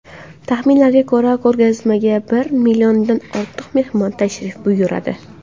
Taxminlarga ko‘ra, ko‘rgazmaga bir milliondan ortiq mehmon tashrif buyuradi.